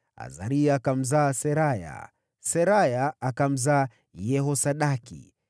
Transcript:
Azaria akamzaa Seraya, Seraya akamzaa Yehosadaki.